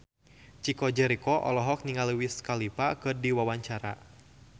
Chico Jericho olohok ningali Wiz Khalifa keur diwawancara